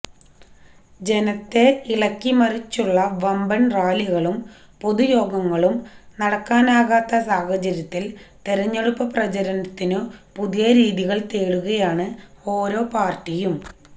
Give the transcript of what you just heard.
ജനത്തെ ഇളക്കി മറിച്ചുള്ള വമ്പന് റാലികളും പൊതുയോഗങ്ങളും നടത്താനാകാത്ത സാഹചര്യത്തില് തിരഞ്ഞെടുപ്പു പ്രചാരണത്തിനു പുതിയ രീതികള് തേടുകയാണ് ഓരോ പാര്ട്ടിയും